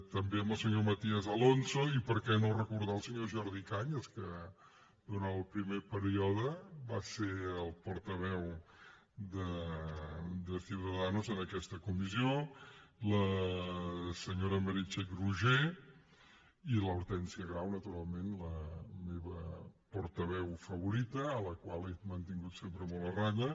també al senyor matías alonso i per què no recordar el senyor jordi cañas que durant el primer període va ser el portaveu de ciudadanos en aquesta comissió a la senyora meritxell roigé i a l’hortènsia grau naturalment la meva portaveu favorita a la qual he mantingut sempre molt a ratlla